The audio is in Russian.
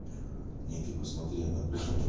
нет ты посмотри она пришла